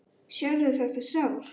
Sérðu þetta sár?